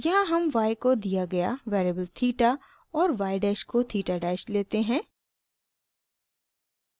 यहाँ हम y को दिया गया वेरिएबल थीटा और y डैश को थीटा डैश लेते हैं